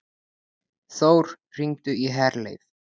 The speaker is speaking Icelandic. Þór, hringdu í Herleif.